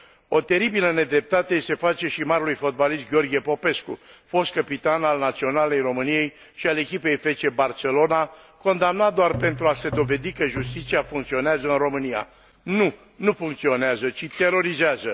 O teribilă nedreptate i se face și marelui fotbalist Gheorghe Popescu, fost căpitan al Naționalei României și al echipei FC Barcelona, condamnat doar pentru a se dovedi că justiția funcționează în România. Nu, nu funcționează, ci terorizează.